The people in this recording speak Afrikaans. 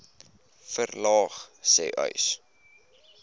verlaag sê uys